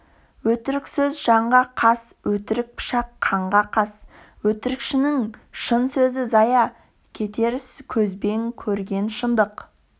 өтірік сөз жанға қас өтірік пышақ қанға қас өтірікшінің шын сөзі зая кетер көзбен көрген шындық